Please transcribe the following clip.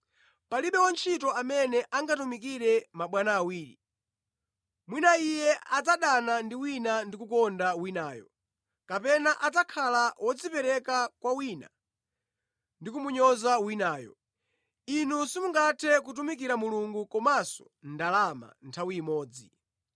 “Palibe wantchito amene angatumikire mabwana awiri. Mwina iye adzadana ndi wina ndi kukonda winayo, kapena adzakhala wodzipereka kwa wina ndi kumunyoza winayo. Inu simungathe kutumikira Mulungu komanso ndalama nthawi imodzi.”